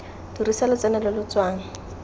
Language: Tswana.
dirisa lotseno lo lo tswang